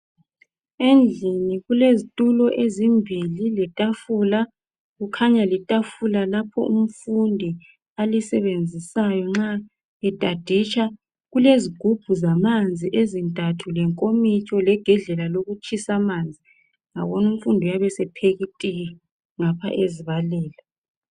Endlini kulezitulo ezimbili letafula, kukhanya litafula lapho umfundi alisebenzisayo nxa etaditsha. Kulezigubhu zamanzi ezintathu lenkomitsho legedlela lokutshisa amanzi, ngabona umfundi uyabe sepheka itiye ngapha ezibalela.